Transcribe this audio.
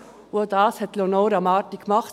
Auch das hat Leonora Marti gemacht.